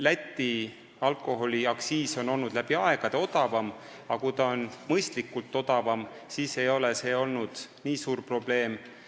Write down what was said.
Läti alkoholiaktsiis on läbi aegade olnud madalam kui meil ja seni, kuni see oli mõistlikult madalam, ei olnud see nii suur probleem.